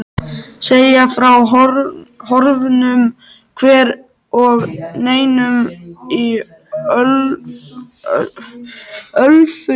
segja frá horfnum hver og nýjum í Ölfusi.